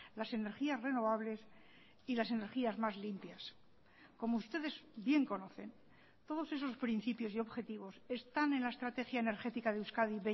las energías renovables y las energías más limpias como ustedes bien conocen todos esos principios y objetivos están en la estrategia energética de euskadi